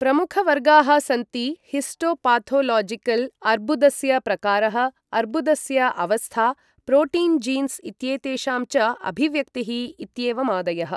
प्रमुखवर्गाः सन्ति हिस्टोपाथोलोजिकल्, अर्ब्बुदस्य प्रकारः, अर्ब्बुदस्य अवस्था, प्रोटीन् जीन्स् इत्येतेषां च अभिव्यक्तिः इत्येवमादयः।